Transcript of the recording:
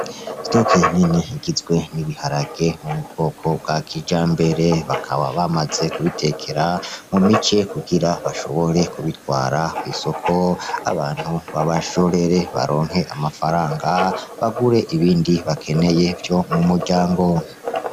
Stock nini igizwe n'ibiharage vyo m'ubwoko bwa kijambere bakaba bamaze kubitekera mu mice kugira bashobore kubitwara kw'isoko abantu babashorere baronke amafaranga bagure ibindi bakeneye vyo mu muryango.